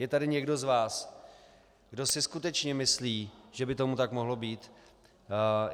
Je tady někdo z vás, kdo si skutečně myslí, že by tomu tak mohlo být?